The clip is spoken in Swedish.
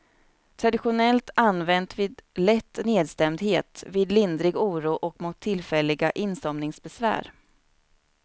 Traditionellt använt vid lätt nedstämdhet, vid lindrig oro och mot tillfälliga insomningsbesvär.